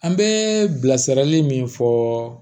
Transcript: An bɛ bilasirali min fɔ